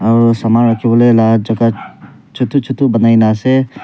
aro saman rakhiwole la jaga chutu chutu banai na ase.